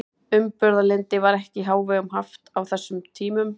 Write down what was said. Umburðarlyndi var ekki í hávegum haft á þessum tímum.